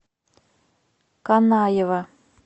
канаева